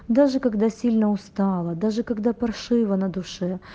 даже когда сильно устала даже когда паршиво на душе